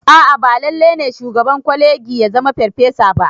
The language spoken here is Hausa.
A'a ba lalle ne shugaban kwalegi ya zama ferfasa ba